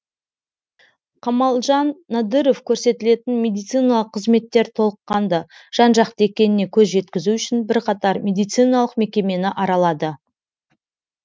камалжан надыров көрсетілетін медициналық қызметтер толыққанды жан жақты екеніне көз жеткізу үшін бірқатар медициналық мекемені аралады